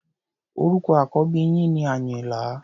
Orúkọ àkọ́bí yín ni Àyìnlá.